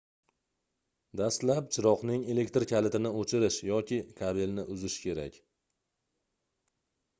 dastlab chiroqning elektr kalitini oʻchirish yoki kabelni uzish kerak